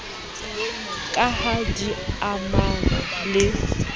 ka ha di amana le